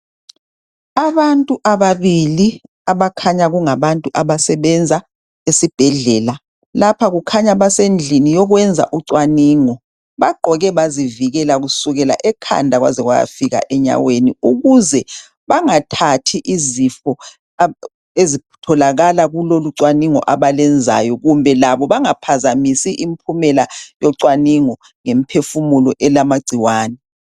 Abantu ababili abakhanya kungabantu abasebenza esibhedlela lapha kukhanya basendlini yokwenza ucwaningo. Bagqoke bazivikela kusukela ekhanda kwaze kwayafika enyaweni ukuze bangathathi izifo ezitholakala kulolu cwaningo abalwenzayo kumbe labo bangaphazamisi impumela yocwaningo ngemphefumulo elamagciwane.